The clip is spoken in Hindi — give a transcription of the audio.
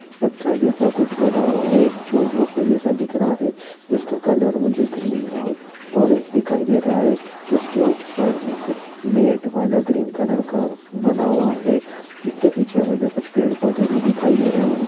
पत्थर जैसा कुछ बना हुआ है जो झोपड़ी जैसा दिख रहा है इसका कलर मुझे ग्रीन और ऑरेंज दिखाई दे रहा है उसके ऊपर एक मॅट वाला ग्रीन कलर का बना हुआ है इसके पीछे मुझे कुछ पेड़-पौधे भी दिखाई दे रहे है।